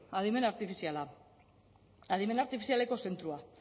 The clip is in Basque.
adimen artifiziala adimen artifizialeko zentroa